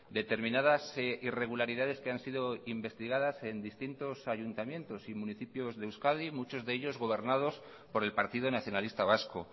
determinadas irregularidades que han sido investigadas en distintos ayuntamientos y municipios de euskadi muchos de ellos gobernados por el partido nacionalista vasco